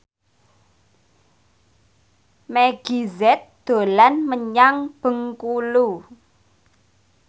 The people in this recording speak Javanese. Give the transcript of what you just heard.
Meggie Z dolan menyang Bengkulu